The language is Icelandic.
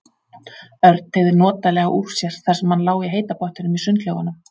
Örn teygði notalega úr sér þar sem hann lá í heita pottinum í sundlaugunum.